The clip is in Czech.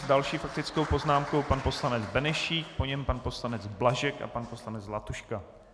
S další faktickou poznámkou pan poslanec Benešík, po něm pan poslanec Blažek a pan poslanec Zlatuška.